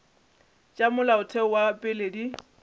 tša molaotheo wa pele di